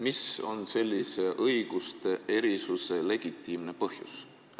Mis on sellise õiguste erisuse legitiimne põhjus?